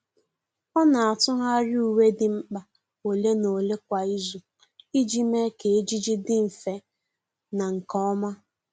Ọ́ nà-átụ́gharị uwe dị mkpa ole na ole kwa ìzù iji mee kà ejiji dị mfe na nke ọma.